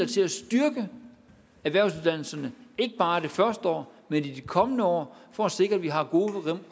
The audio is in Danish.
til at styrke erhvervsuddannelserne ikke bare det første år men i de kommende år for at sikre at vi har gode